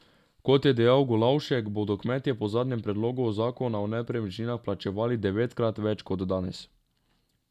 Kot je dejal Golavšek, bodo kmetje po zadnjem predlogu zakona o nepremičninah plačevali devetkrat več kot danes.